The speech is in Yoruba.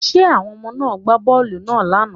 Did the children play the ball yesterday